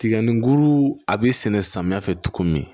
Tigɛni kuru a bɛ sɛnɛ samiya fɛ cogo min